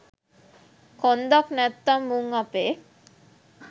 කොන්දක් නැත්නම් මුං අපේ